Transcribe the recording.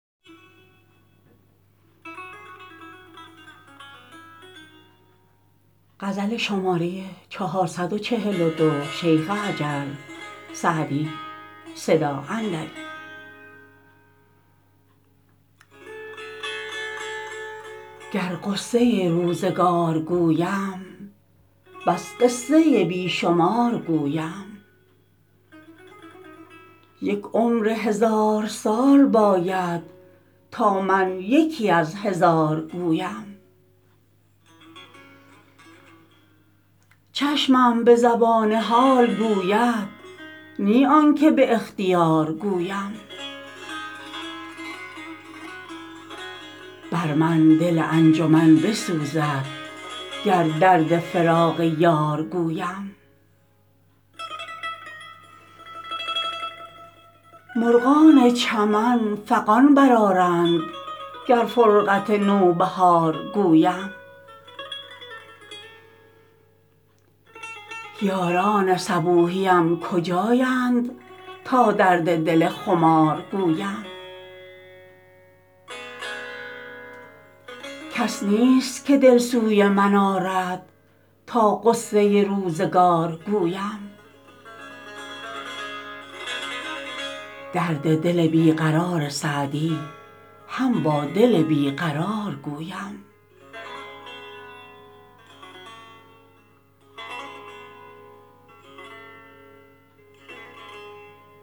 گر غصه روزگار گویم بس قصه بی شمار گویم یک عمر هزار سال باید تا من یکی از هزار گویم چشمم به زبان حال گوید نی آن که به اختیار گویم بر من دل انجمن بسوزد گر درد فراق یار گویم مرغان چمن فغان برآرند گر فرقت نوبهار گویم یاران صبوحیم کجایند تا درد دل خمار گویم کس نیست که دل سوی من آرد تا غصه روزگار گویم درد دل بی قرار سعدی هم با دل بی قرار گویم